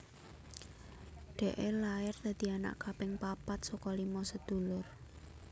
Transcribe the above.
Dee lair dadi anak kaping papat saka lima sedulur